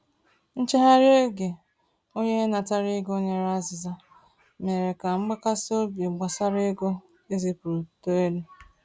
Nchegharị oge onye natara ego nyere azịza mere ka mgbakasị obi gbasara ego ezipụrụ too elu.